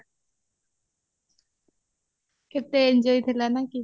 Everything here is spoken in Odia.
କେତେ enjoy ଥିଲା ନାଁ କି